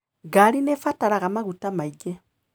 Ngari nĩ ĩbataraga maguta mangĩ.